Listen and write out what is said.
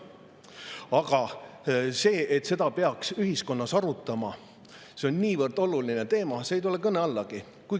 Aga see, et seda peaks ühiskonnas arutama, et see on niivõrd oluline teema, see ei tule kõne allagi.